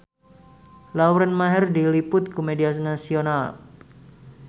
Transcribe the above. Lauren Maher diliput ku media nasional